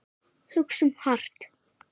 Hugsum hart.